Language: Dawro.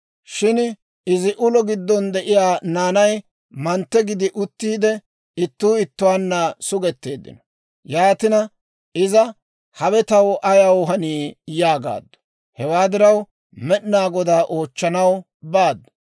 Shin izi ulo giddon de'iyaa naanay mantte gidi uttiide, ittuu ittuwaanna sugetteeddino; yaatina iza, «Hawe taw ayaw hanii?» yaagaaddu. Hewaa diraw Med'inaa Godaa oochchanaw baaddu.